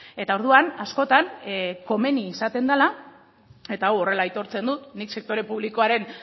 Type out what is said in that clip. eta orduan askotan komeni izaten dela eta hau horrela aitortzen dut nik sektore publikoaren